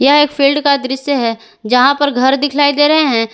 यह एक फील्ड का दृश्य है जहां पर घर दिखाई दे रहे हैं।